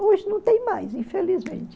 Hoje não tem mais, infelizmente.